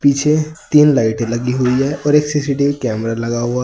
पीछे तीन लाइटे लगी हुई है और एक कैमरा लगा हुआ--